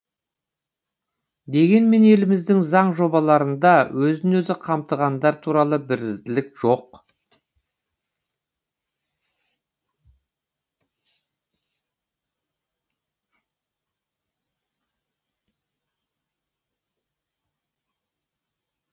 дегенмен еліміздің заң жобаларында өзін өзі қамтығандар туралы бірізділік жоқ